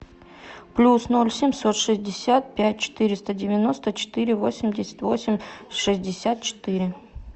плюс ноль семьсот шестьдесят пять четыреста девяносто четыре восемьдесят восемь шестьдесят четыре